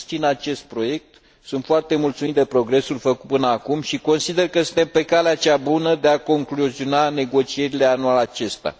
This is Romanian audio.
Susțin acest proiect, sunt foarte mulțumit de progresul făcut până acum și consider că suntem pe calea cea bună de a concluziona negocierile anul acesta.